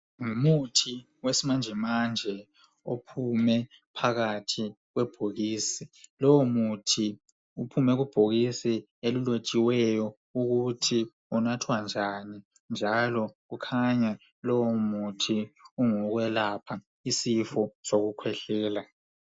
Ngumuthi wesimanje manje ophume phakathi kwebhokisi lowo muthi uphume kubhokisi elilotshiweyo ukuthi unathwa njani njalo ukhanya lowo muthi ungowokwelapha isifo sokukhwehlela.